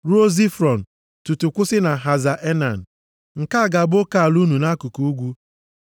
ruo Zifron tutu kwụsị na Haza Enan. Nke a ga-abụ oke ala unu nʼakụkụ ugwu.